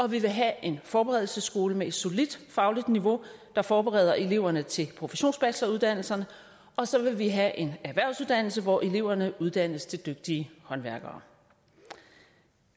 vi vil have en forberedelsesskole med et solidt fagligt niveau der forbereder eleverne til professionsbacheloruddannelserne og så vil vi have en erhvervsuddannelse hvor eleverne uddannes til dygtige håndværkere